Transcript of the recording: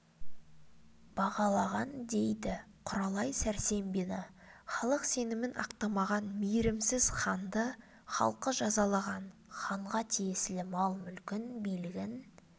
бағалаған дейді құралай сәрсембина халық сенімін ақтамаған мейірімсіз ханды халқы жазалаған ханға тиесілі мал-мүлкін билігін